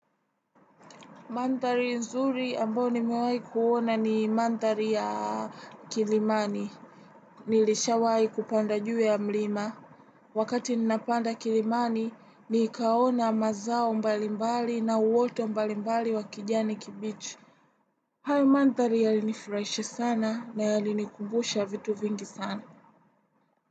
Mandhari nzuri ambao nimewai kuona ni mandhari ya kilimani. Nilishawai kupanda juu ya mlima. Wakati ninapanda kilimani, nikaona mazao mbalimbali na uwote mbalimbali wa kijani kibichi hayo mandhari yalinifiraishe sana na yalinikubusha vitu vingi sana.